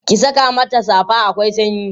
ki Saka mata safa akwai sanyi